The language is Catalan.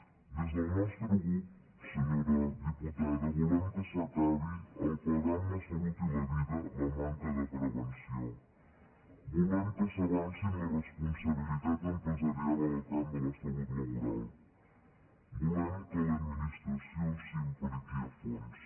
des del nostre grup senyora diputada volem que s’acabi pagar amb la salut i la vida la manca de prevenció volem que s’avanci en la responsabilitat empresarial en el camp de la salut laboral volem que l’administració s’hi impliqui a fons